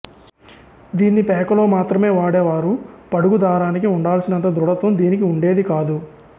దీన్ని పేకలో మాత్రమే వాడేవారు పడుగు దారానికి ఉండాల్సినంత దృఢత్వం దీనికి ఉండేది కాదు